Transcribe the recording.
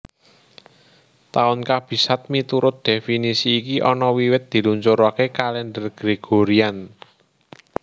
Tahun Kabisat miturut dhéfinisi iki ana wiwit diluncuraké kalendher Gregorian